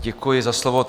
Děkuji za slovo.